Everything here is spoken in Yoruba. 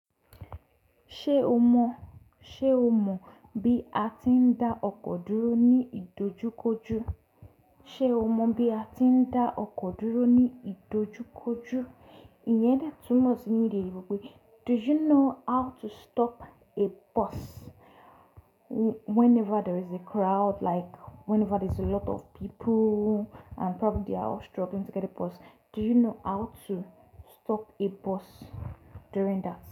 Ṣé o mọ, ṣe o mọ bí a ti ń dá ọkọ̀ dúró ní ìdojúkojú? Ṣé o mọ bí a ti ń dá ọkọ̀ dúró ní ìdojúkojú? Iyẹn dẹ túmọ̀ sí ninu ede oyinbo pé, do you know how to stop a bus whenever there is a crowd like whenever there is a lot of people and probably they are all struggling to get a bus. Do you know how to stop a bus during that.